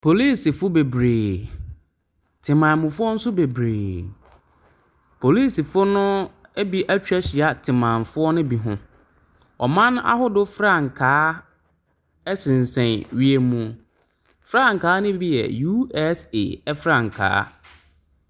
Polisifo bebree, temammufo nso bebree. Polisifoɔ no bi atwa ahyia temammufoɔ no bi ho. Ɔman ahodoɔ frankaa sensɛn wiem. Frankaa no bi yɛ USA frankaa.